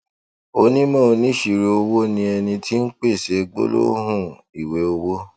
onímò oníṣirò owó ni ẹni tí ń pèsè gbólóhùn ìwé owó